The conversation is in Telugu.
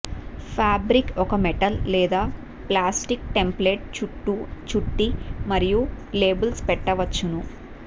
ఫాబ్రిక్ ఒక మెటల్ లేదా ప్లాస్టిక్ టెంప్లేట్ చుట్టూ చుట్టి మరియు లేబుల్స్ పెట్టవచ్చును